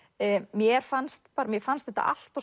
mér fannst mér fannst þetta allt of